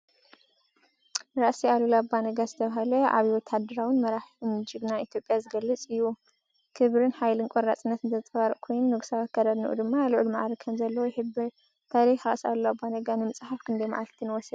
ራስ ኣሉላ ኣባ ነጋ ዝተባህለ ዓቢ ወተሃደራዊ መራሕን ጅግናን ኢትዮጵያ ዝገልጽ እዩ። ክብርን ሓይልን ቆራጽነትን ዘንጸባርቕ ኮይኑ፡ ንጉሳዊ ኣከዳድናኡ ድማ ልዑል መዓርግ ከምዘለዎ ይሕብር። ታሪክ ራስ ኣሉላ ኣባ ነጋ ንምጽሓፍ ክንደይ መዓልቲ ንወሰደ?